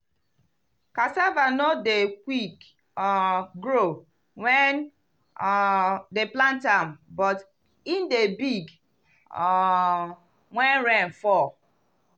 cassava no dey quick um grow wen um dem plant am but e dey big um when rain fall.